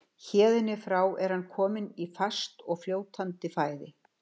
Héðan í frá er hann kominn í fast og fljótandi fæði.